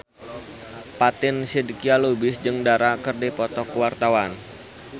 Fatin Shidqia Lubis jeung Dara keur dipoto ku wartawan